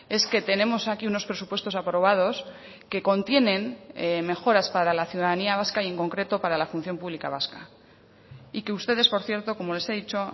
es que tenemos aquí unos presupuestos aprobados que contienen mejoras para la ciudadanía vasca y en concreto para la función pública vasca y que ustedes por cierto como les he dicho